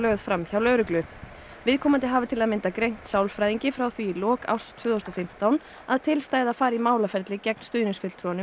viðkomandi hafi til að mynda greint sálfræðingi frá því í lok árs tvö þúsund og fimmtán að til stæði að fara í málaferli gegn næsta haust